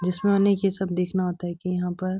जिसमें उन्हें ये सब देखना होता है कि यहां पर --